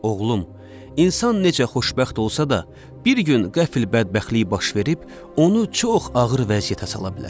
Oğlum, insan necə xoşbəxt olsa da, bir gün qəfil bədbəxtlik baş verib onu çox ağır vəziyyətə sala bilər.